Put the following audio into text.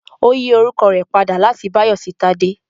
Ó yí orúkọ rẹ̀ padà láti Báyọ̀ sí Tádé